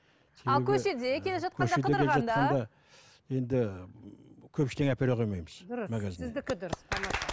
енді көп ештеңе әпере қоймаймыз